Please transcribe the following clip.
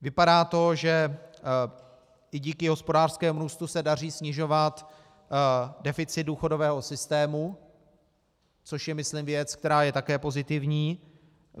Vypadá to, že i díky hospodářskému růstu se daří snižovat deficit důchodového systému, což je myslím věc, která je také pozitivní.